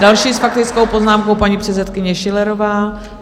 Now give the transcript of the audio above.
Další s faktickou poznámkou paní předsedkyně Schillerová.